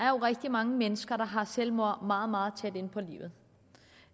jo rigtig mange mennesker der har selvmord meget meget tæt inde på livet